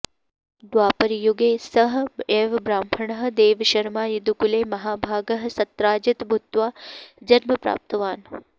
द्वापरयुगे सः एव ब्राह्मणः देवशर्मा यदुकुले महाभागः सत्राजित् भूत्वा जन्म प्राप्तवान्